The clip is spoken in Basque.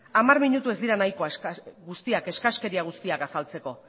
hamar minutu ez dira eskaskeri guztiak azaltzeko